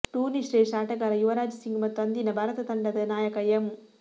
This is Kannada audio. ಟೂರ್ನಿ ಶ್ರೇಷ್ಠ ಆಟಗಾರ ಯುವರಾಜ್ ಸಿಂಗ್ ಮತ್ತು ಅಂದಿನ ಭಾರತ ತಂಡದ ನಾಯಕ ಎಂ